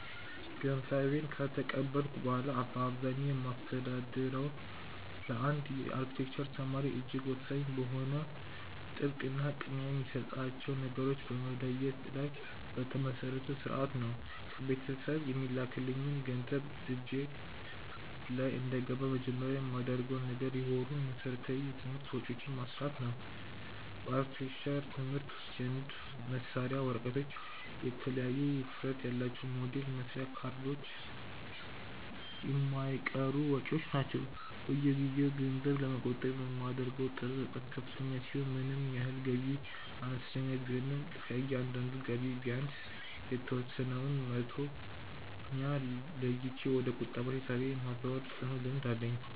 ገንዘቤን ከተቀበልኩ በኋላ በአብዛኛው የማስተዳድረው ለአንድ የአርክቴክቸር ተማሪ እጅግ ወሳኝ በሆነው ጥብቅ እና ቅድሚያ የሚሰጣቸውን ነገሮች በመለየት ላይ በተመሰረተ ሥርዓት ነው። ከቤተሰብ የሚላክልኝ ገንዘብ እጄ ላይ እንደገባ መጀመሪያ የማደርገው ነገር የወሩን መሠረታዊ የትምህርት ወጪዎቼን ማስላት ነው። በአርክቴክቸር ትምህርት ውስጥ የንድፍ መሳያ ወረቀቶች፣ የተለያዩ ውፍረት ያላቸው የሞዴል መስሪያ ካርቶኖች የማይቀሩ ወጪዎች ናቸው። በየጊዜው ገንዘብ ለመቆጠብ የማደርገው ጥረት በጣም ከፍተኛ ሲሆን ምንም ያህል ገቢዬ አነስተኛ ቢሆንም ከእያንዳንዱ ገቢ ላይ ቢያንስ የተወሰነውን መቶኛ ለይቼ ወደ ቁጠባ ሂሳቤ የማዛወር ጽኑ ልምድ አለኝ።